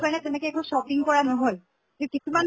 তো কাৰণে তেনেকে একো shopping কৰা নহʼল। তʼ কিছুমান